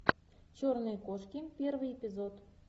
черные кошки первый эпизод